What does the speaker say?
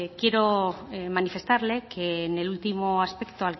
quiero manifestarle que en el último aspecto